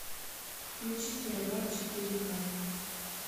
включи суррогат четыре ка